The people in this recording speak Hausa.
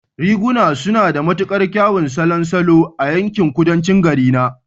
Riguna suna da matuƙar kyawun salon salo a yankin Kudancin garina